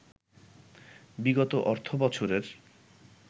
বিগত অর্থবছরের